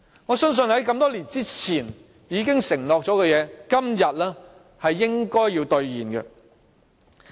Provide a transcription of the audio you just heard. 我相信，在這麼多年以前已承諾的事情，今天應該要兌現。